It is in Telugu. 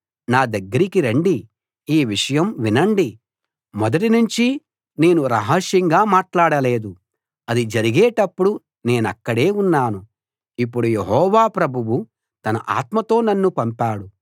నా దగ్గరికి రండి ఈ విషయం వినండి మొదటినుంచి నేను రహస్యంగా మాట్లాడలేదు అది జరిగేటప్పుడు నేనక్కడే ఉన్నాను ఇప్పుడు యెహోవా ప్రభువు తన ఆత్మతో నన్ను పంపాడు